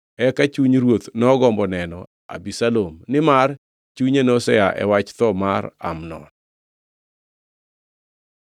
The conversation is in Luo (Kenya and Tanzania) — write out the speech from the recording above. Eka chuny ruoth nogombo neno Abisalom, nimar chunye nosea e wach tho mar Amnon.